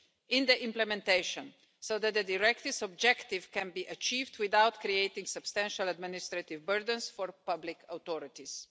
in the implementation so that the directive's objective can be achieved without creating substantial administrative burdens for public authorities.